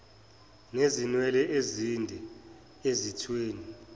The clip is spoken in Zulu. nezinwele ezinde ezithweni